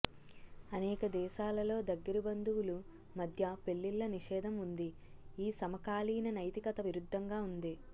అనేక దేశాలలో దగ్గరి బంధువులు మధ్య పెళ్ళిళ్ళ నిషేధం ఉంది ఈ సమకాలీన నైతికత విరుద్ధంగా ఉంది